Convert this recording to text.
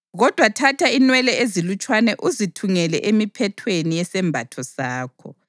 Kodwa thatha inwele ezilutshwane uzithungele emiphethweni yesembatho sakho.